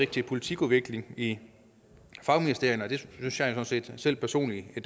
til politikudvikling i fagministerierne og det synes jeg sådan set selv personligt at